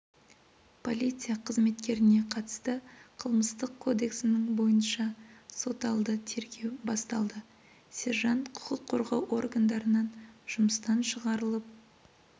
полиция қызметкеріне қатысты қылмыстық кодексінің бойынша соталды тергеу басталды сержант құқық қорғау органдарынан жұмыстан шығарылып